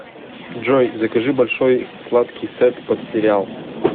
джой закажи большой сладкий сет под сериал